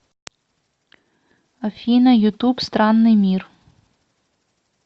афина ютуб странный мир